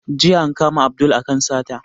Jiya an kama Abdul a kan sata